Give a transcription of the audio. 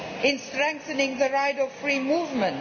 in strengthening the right to free movement